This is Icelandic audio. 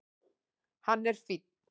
Hann er fínn.